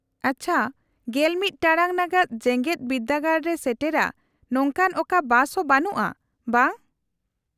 -ᱟᱪᱪᱷᱟ, ᱑᱑ ᱴᱟᱲᱟᱝ ᱱᱟᱜᱟᱫ ᱡᱮᱜᱮᱫ ᱵᱤᱨᱫᱟᱹᱜᱟᱲ ᱮ ᱥᱮᱴᱮᱨᱟ ᱱᱚᱝᱠᱟᱱᱟᱜ ᱚᱠᱟ ᱵᱟᱥ ᱦᱚᱸ ᱵᱟᱹᱱᱩᱜᱼᱟ, ᱵᱟᱝ ?